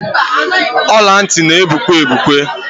Ọla ntị na-egbuke egbuke.